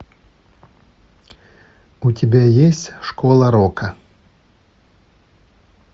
у тебя есть школа рока